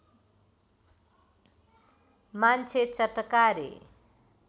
मान्छे चटकारे